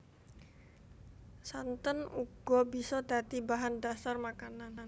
Santen uga bisa dadi bahan dhasar masakan